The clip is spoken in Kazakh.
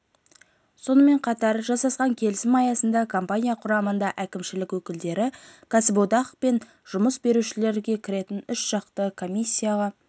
сонымен қатар жасасқан келісім аясында компания құрамында әкімшілік өкілдері кәсіподақ пен жұмыс берушілер кіретін үшжақты комиссияға